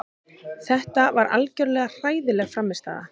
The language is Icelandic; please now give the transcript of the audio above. Þetta var algjörlega hræðileg frammistaða.